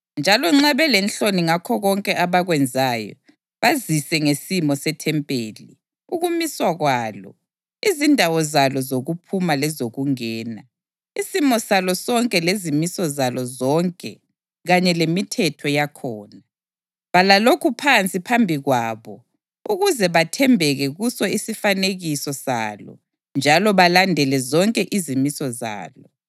njalo nxa belenhloni ngakho konke abakwenzayo, bazise ngesimo sethempeli, ukumiswa kwalo, izindawo zalo zokuphuma lezokungena, isimo salo sonke lezimiso zalo zonke kanye lemithetho yakhona. Bhala lokhu phansi phambi kwabo ukuze bathembeke kuso isifanekiso salo njalo balandele zonke izimiso zalo.